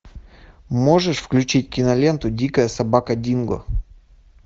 можешь включить киноленту дикая собака динго